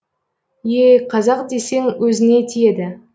ееее қазақ десең өзіңе тиеді